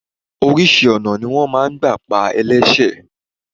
Oríṣi ọ̀nà ni wọn máa ń gbà pa ẹlẹ́sẹ̀.